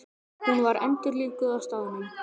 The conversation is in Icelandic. Hún var endurlífguð á staðnum